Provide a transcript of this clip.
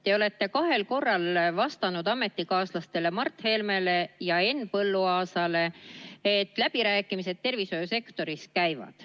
Te olete kahel korral vastanud ametikaaslastele Mart Helmele ja Henn Põlluaasale, et läbirääkimised tervishoiusektoris käivad.